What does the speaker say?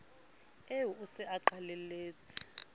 eo o se o qalelletse